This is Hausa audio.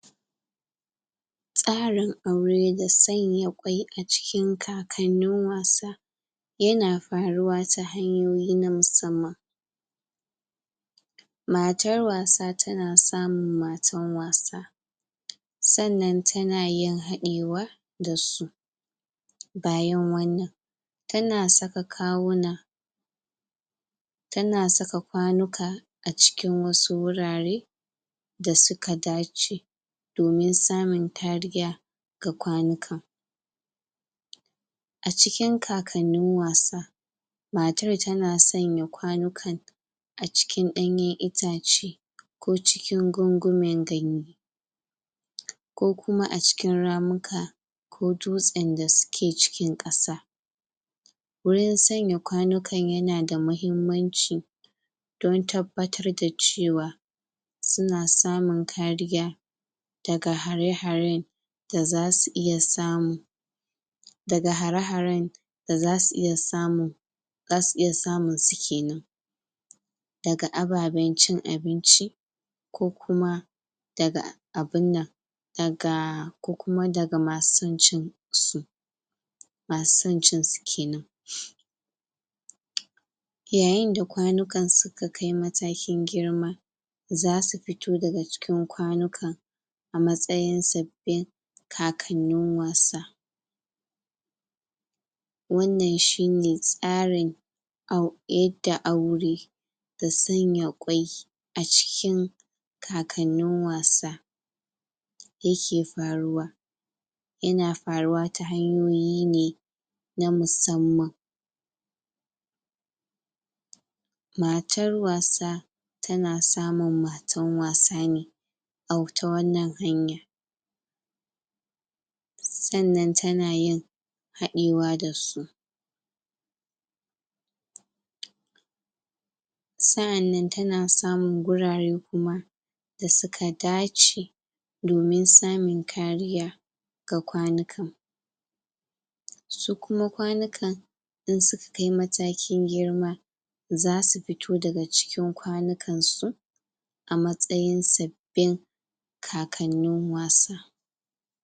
Tsarin aure da tsanya kwai a cikin kakanin wasa ya na faruwa ta hanyoyi na musamman matar wasa ta na samun matan wasa tsannan ta na yin haɗewa da su bayan wannan ta na saka kawuna ta na tsaka kwanuka a cikin wasu wurare da su ka dace domin samin tariya ga kwanukan. A cikin kakanin wasa matar ta na sanya kwanukan a cikin danyen itace ko cikin gungumin ganye ko kuma a cikin ramuka ko dutsen da su ke cikin kasa wurin tsanya kwanukan ya na da mahimmanci don tabbatar da cewa su na samun kariya daga hare-haren da za su iya samun da ga hare-haren da za su iya samun za su iya samun su kenan da ga ababen cin abinci ko kuma da ga abunnan da ga ko kuma da ga ma su cin su ma su san cin su kenan ƴaƴan da kwanukan su ka kai matakin girma za su fito da ga cikin kwanukan a matsayin sabbin kakanin wasa wannan shi ne tsarin au yadda aure da sanya kwai, a cikin kakanin wasa ya ke faruwa ya na faruwa ta hanyoyi ne na musamman matar wasa ta na samun matan wasa ne au ta wannan hanya tsannan ta na yin, haɗewa da su tsaannan ta na samun gurare kuma da su ka dace domin samun kariya, ga kwanukan. su kuma kwanukan, in suka kai matakin girma za su fito da ga cikin kwanukan su a matsayin sabbin kakanin wasa.